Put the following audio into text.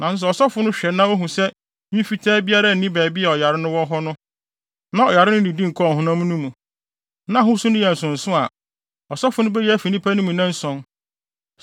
Nanso sɛ ɔsɔfo no hwɛ na ohu sɛ nwi fitaa biara nni baabi a ɔyare no wɔ hɔ no, na ɔyare no nnidi nkɔɔ honam no mu, na ahosu no yɛ nsonso a ɔsɔfo no beyi no afi nnipa mu nnanson.